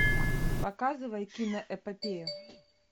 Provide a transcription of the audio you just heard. показывай киноэпопею